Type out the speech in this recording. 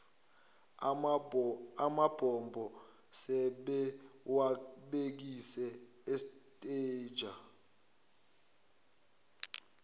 amabombo sebewabhekise estanger